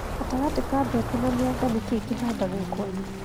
Gatagatĩ ka mbembe na mĩanga, nĩ kĩ kĩhandagwo kwanyu?